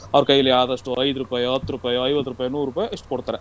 ಅವ್ರ ಕೈಲಿ ಆದಷ್ಟು ಐದ್ ರೂಪಾಯೋ, ಹತ್ತ್ ರೂಪಾಯೋ, ಐವತ್ತ್ ರೂಪಾಯೋ, ನೂರ್ ರೂಪಾಯೋ ಇಷ್ಟ್ ಕೊಡ್ತಾರೆ.